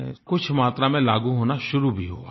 कुछ मात्रा में लागू होना शुरू भी हुआ है